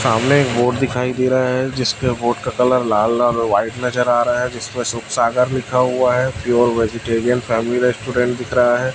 सामने एक बोर्ड दिखाई दे रहा है जिस पे बोर्ड का कलर लाल लाल और व्हाइट नजर आ रहा है जिसमें सुख सागर लिखा हुआ है प्योर वेजीटेरियन फैमिली रेस्टोरेंट दिख रहा है।